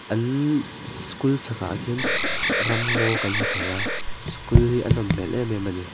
an school chhakah hian ramngaw kan hmu thei a school hi a nawm hmel em em a ni.